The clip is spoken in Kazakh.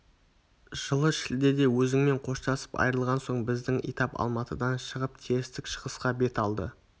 жылы шілдеде өзіңмен қоштасып айырылған соң біздің итап алматыдан шығып терістік-шығысқа бет алды